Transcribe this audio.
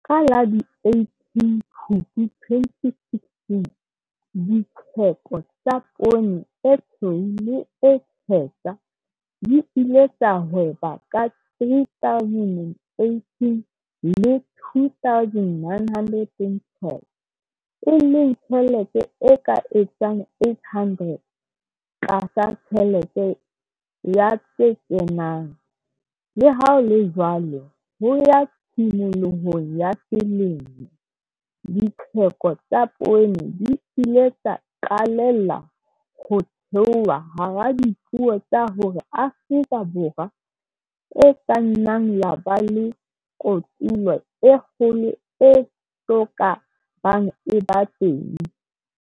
Ka la 18 Phupu 2016, ditheko tsa poone e tshweu le e tshehla di ile tsa hweba ka R3 018 le R2 912, e leng tjhelete e ka etsang R800 tlasa tjhelete ya tse kenang, le ha ho le jwalo, ho ya tshimolohong ya selemo, ditheko tsa poone di ile tsa qalella ho theoha hara dipuo tsa hore Afrika Borwa e ka nna ya ba le kotulo e kgolo e so ka bang e eba teng.